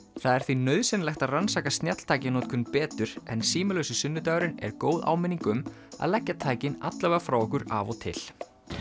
það er því nauðsynlegt að rannsaka snjalltækjanotkun betur en símalausi sunnudagurinn er góð áminning um að leggja tækin allavega frá okkur af og til